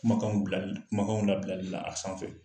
Kumakan bilali kumakanw labilali la a sanfɛ